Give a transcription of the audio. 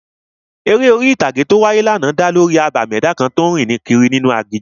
The folk eré orí-ìtàgé tó wáyé ní àná, abàmì ẹ̀dá kan tó n rìn kiri inú aginjù